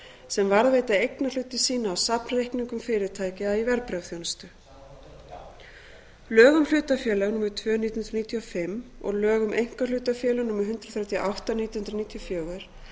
sem varðveita eignarhluti sína á safnreikningum fyrirtækja í verðbréfaþjónustu lög um hlutafélög númer tvö nítján hundruð níutíu og fimm og lög um einkahlutafélög númer hundrað þrjátíu og átta nítján hundruð níutíu og fjögur